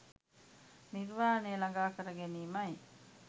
නිර්වාණය ළඟා කර ගැනීමයි